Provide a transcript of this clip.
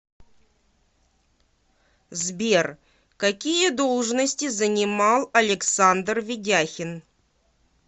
сбер какие должности занимал александр ведяхин